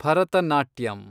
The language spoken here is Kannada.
ಭರತನಾಟ್ಯಂ